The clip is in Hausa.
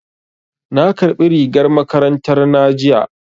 Na ƙarbi rigar makarantar na jiya